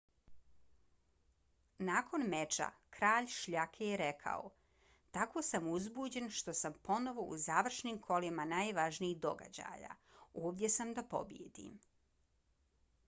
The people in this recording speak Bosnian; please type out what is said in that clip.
nakon meča kralj šljake je rekao: tako sam uzbuđen što sam ponovo u završnim kolima najvažnijih događaja. ovdje sam da pobijedim.